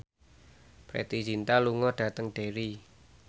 Preity Zinta lunga dhateng Derry